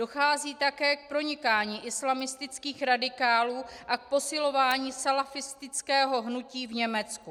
Dochází také k pronikání islamistických radikálů a k posilování salafistického hnutí v Německu.